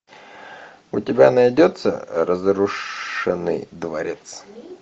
у тебя найдется разрушенный дворец